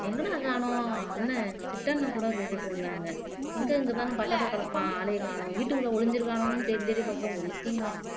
எங்கடா காணோம் அண்ணே கூட கேட்டுட்டு இருந்தாங்க எங்க இங்கதானே பக்கத்துல கிடப்பான் ஆளையே காணோம் வீட்டுக்குள்ள ஒளிஞ்சிருக்கானுங்கன்னு தேடி தேடி பார்த்தோம் ஒண்ணுத்தையும் கனோ